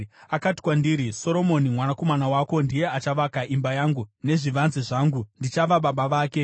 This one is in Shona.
Akati kwandiri, ‘Soromoni mwanakomana wako ndiye achavaka imba yangu nezvivanze zvangu, ndichava baba vake.